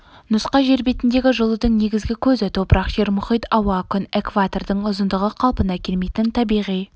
нұска жер бетіндегі жылудың негізгі көзі топырақ жер мұхит ауа күн экватордың ұзындығы қалпына келмейтін табиғи